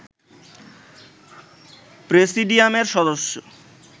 প্রেসিডিয়ামের সদস্য